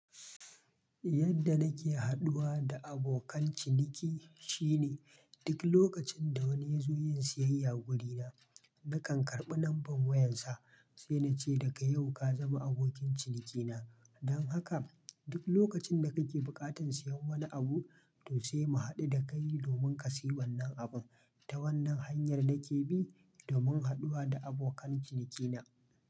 Yadda nake haɗuwa da abokan ciniki shine duk lokacin da wani ya zo yin siyayya wurina, nakan karɓi number wayarsa sai na ce daga yau ka zama abokin cinikina. Don haka duk lokacin da kake buƙatar siyan wani abu, to sai mu haɗu da kai domin ka sayi wannan abun. Ta wannan hanyar nake bi domin haɗuwa da abokan cinikina.